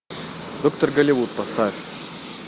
доктор голливуд поставь